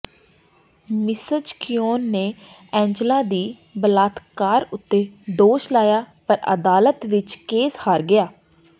Mrs Quinn ਨੇ Angela ਦੀ ਬਲਾਤਕਾਰ ਉੱਤੇ ਦੋਸ਼ ਲਾਇਆ ਪਰ ਅਦਾਲਤ ਵਿਚ ਕੇਸ ਹਾਰ ਗਿਆ